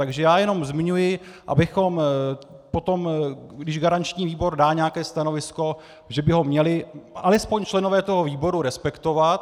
Takže já jen zmiňuji, abychom potom, když garanční výbor dá nějaké stanovisko, že by ho měli alespoň členové toho výboru respektovat.